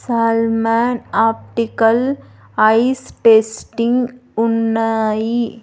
Salman optical eyes testing ఉన్నాయి.